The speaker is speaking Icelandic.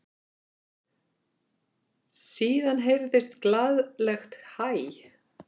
Síðan heyrðist glaðlegt hæ.